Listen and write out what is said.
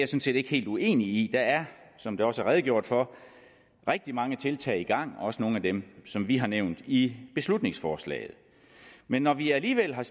set ikke helt uenig i der er som der også er redegjort for rigtig mange tiltag i gang også nogle af dem som vi har nævnt i beslutningsforslaget men når vi alligevel har